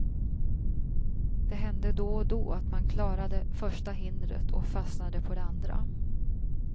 Det hände då och då att man klarade första hindret och fastnade på det andra.